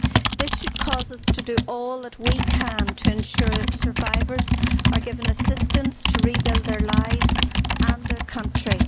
This should cause us to do all that we can to ensure survivors are given assistance to rebuild their lives and their country.